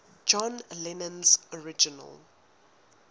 john lennon's original